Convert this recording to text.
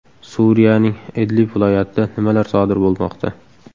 Suriyaning Idlib viloyatida nimalar sodir bo‘lmoqda?.